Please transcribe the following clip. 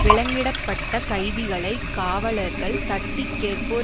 விலங்கிடப்பட்ட கைதிகளை காவலர்கள் தட்டிகேட்போர்